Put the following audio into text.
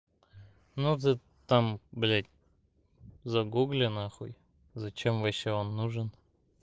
ну ты там блядь загугли нахуй зачем вообще он нужен